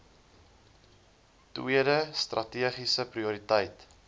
tweede strategiese prioriteit